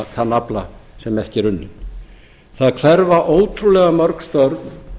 þann afla sem ekki er unninn það hverfa ótrúlega mörg störf